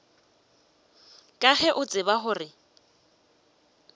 ka ge o tseba gore